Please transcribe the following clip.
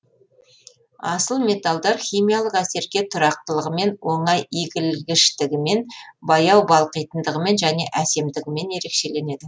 асыл металдар химиялық әсерге тұрақтылығымен оңай игілгіштігімен баяу балқитындығымен және әсемдігімен ерекшеленеді